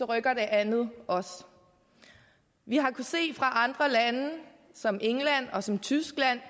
rykker det andet også vi har fra andre lande som england og som tyskland